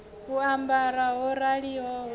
u ambara ho raliho ri